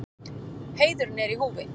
Heiðurinn er í húfi.